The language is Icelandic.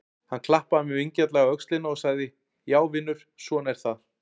Hann klappaði mér vingjarnlega á öxlina og sagði: Já vinur, svona er það.